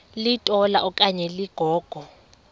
litola okanye ligogo